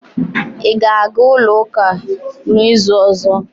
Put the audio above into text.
Ị ga-aga ulo uka n'izu ọzọ?